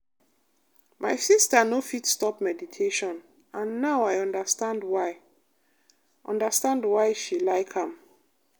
my sister no fit stop meditation and now i understand why understand why she like am.